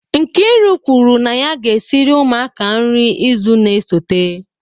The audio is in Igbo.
Nkiru kwuru na ya ga-esiri ụmụaka nri izu na-esote